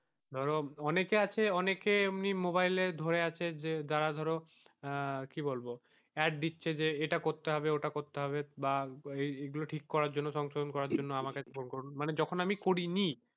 ধরো অনেকে আছে অনেকে এমনি মোবাইলে ধরে আছে যে যারা ধরো আহ কি বলবো add দিচ্ছে যে এটা করতে হবে ওটা করতে হবে বা এগুলো ঠিক করার জন্য, সংশোধন করার জন্য আমাকে ফোন করুন যখন আমি করিনি,